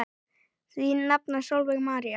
Þín nafna Sólveig María.